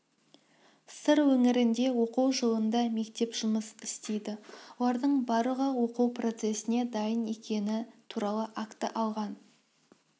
сыр өңірінде оқу жылында мектеп жұмыс істейді олардың барлығы оқу процесіне дайын екенін туралы акті алған